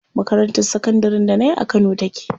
Makarantar sakandarin da nayi a kano take.